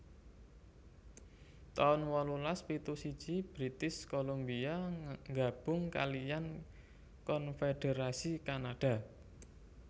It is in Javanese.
taun wolulas pitu siji British Columbia nggabung kaliyan konfédherasi Kanada